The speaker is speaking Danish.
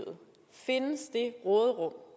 råderum